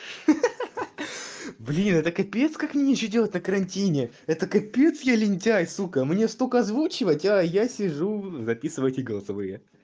ха-ха блин это капец как нечего делать на карантине это капец я лентяй сука мне столько озвучивать а я сижу записываю эти голосовые